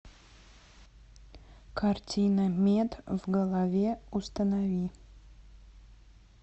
картина мед в голове установи